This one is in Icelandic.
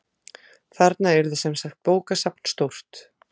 Þarna yrði semsagt bókasafn stórt.